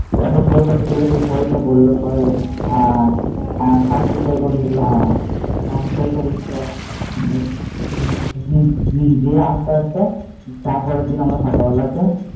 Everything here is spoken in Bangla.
কি একটা সই পত্র ছিল সই তো করলো সবাই দিদি ভাই হ্যাঁ বড়ো মা করেছিল তার পরের দিন সকালে আমরা